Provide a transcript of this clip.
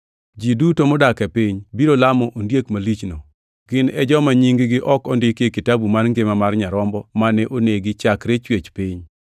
Ji duto modak e piny biro lamo ondiek malichno. Gin e joma nying-gi ok ondiki e kitabu mar ngima mar Nyarombo mane onegi chakre chwech piny.